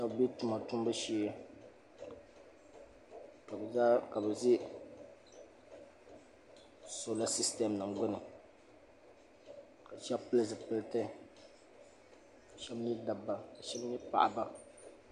shɛba be tuma tumbu shee ka bɛ ʒe sɔla sisitem nima gbuni ka shɛba pili zipiliti ka shɛba nyɛ dabba ka shɛba nyɛ paɣaba